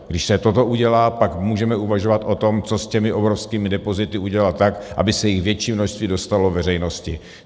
Když se toto udělá, pak můžeme uvažovat o tom, co s těmi obrovskými depozity udělat tak, aby se jich větší množství dostalo veřejnosti.